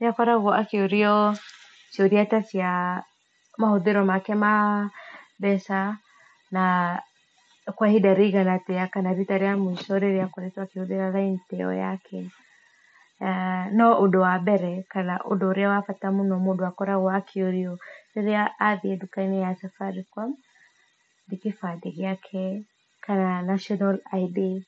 nĩakoragwo akĩũrio ciũria ta cia mahũthĩro make ma mbeca na kwa ihinda rĩigana atĩa kana rita rĩa muico rĩrĩa akoretwo akĩhũthĩra raini iyo yake. No ũndũ wa mbere kana ũndũ ũrĩa wa bata mũno mũndũ akoragwo akĩũria rĩrĩa athiĩ ndũka-inĩ ya Safaricom nĩ kĩbandĩ gĩake kana national ID .